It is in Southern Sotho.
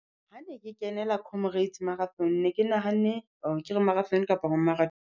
Ha ne ke kenela comrades marathon ne ke nahanne or-re ke re marathon kapa ho